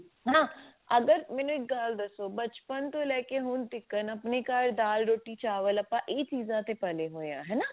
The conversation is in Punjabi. ਨਾ ਅਗਰ ਮੈਨੂੰ ਇੱਕ ਗੱਲ ਦੱਸੋ ਬਚਪਨ ਤੋਂ ਲੈ ਕੇ ਹੁਣ ਤੀਕਰ ਆਪਣੇ ਘਰ ਦਲ ਰੋਟੀ ਚਾਵਲ ਆਪਾਂ ਇਹ ਚੀਜ਼ਾਂ ਤੇ ਪਲੇ ਹੋਏ ਹਾਂ ਹਨਾ